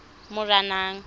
moranang